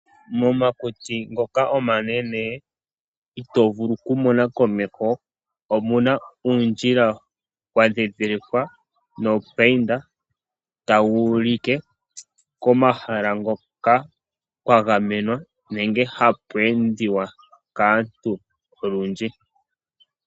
Momakuti omanene mono itoo vulu okumona ondjila omwandhindilikwa nomandhindhiliko giili ngoka taga ulike komahala ngoka kwagamenwa nenge hapu endiwa kaantu olundji.